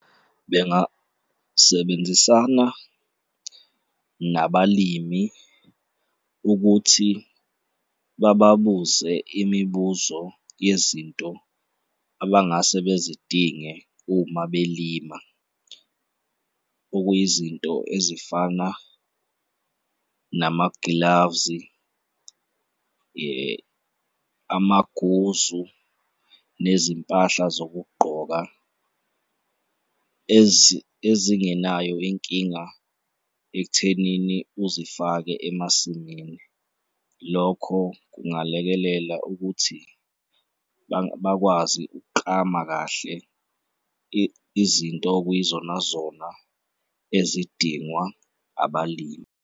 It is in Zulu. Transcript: Bengasebenzisana nabalimi ukuthi bababuze imibuzo yezinto abangase bezidinge uma belima, okuyizinto ezifana nama-gloves-i , amaguzu nezimpahla zokugqoka ezingenayo inkinga ekuthenini uzifake emasimini. Lokho kungalekelela ukuthi bakwazi ukuklama kahle izinto okuyizonazona ezidingwa abalimi.